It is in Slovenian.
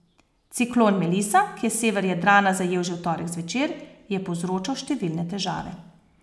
Ciklon Melisa, ki je sever Jadrana zajel že v torek zvečer, je povzročal številne težave.